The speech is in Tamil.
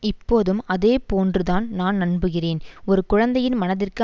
இப்போதும் அதே போன்று தான் நான் நம்புகிறேன் ஒரு குழந்தையின் மனதிற்கு